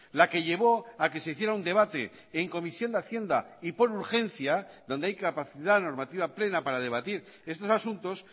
la que llevó a que se hiciera un debate en comisión de hacienda y por urgencia donde hay capacidad normativa plena para debatir estos asuntos